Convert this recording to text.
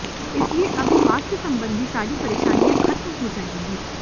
इसलिए अब स्वास्थ्य संबंधी सारी परेशानियां खत्म हो जाएंगी